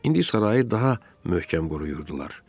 İndi sarayı daha möhkəm qoruyurdular.